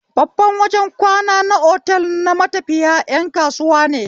Babban wajen kwana na otel na matafiya ƴan kasuwa ne